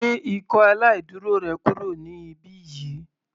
Gbé ikọ́ aláìdúró rẹ kúrò ní ibí yìí.